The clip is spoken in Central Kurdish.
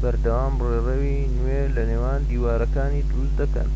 بەردەوام ڕێڕەوی نوێ لە نێوان دیوارەکانی دروست دەکەن